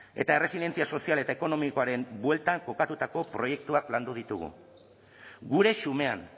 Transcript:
eta erresidentzia sozial eta ekonomikoaren bueltan kokatutako proiektuak landu ditugu gure xumean